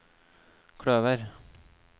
kløver